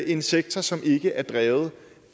en sektor som ikke er drevet